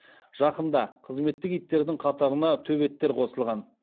жақында қызметтік иттердің қатарына төбеттер қосылған